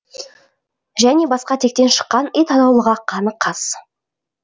және басқа тектен шыққан ит атаулыға қаны қас